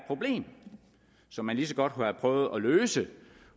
problem som man lige så godt kunne have prøvet at løse